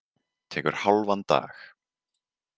Tekur hálfan dag.